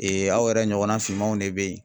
aw yɛrɛ ɲɔgɔnna finmanw ne bɛ ye.